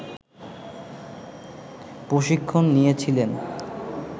প্রশিক্ষণ নিয়েছিলেন